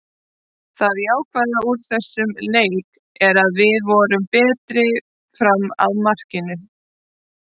Það jákvæða úr þessum leik er að við vorum betri fram að markinu.